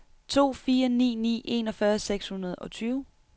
to fire ni ni enogfyrre seks hundrede og tyve